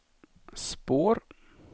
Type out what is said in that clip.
spår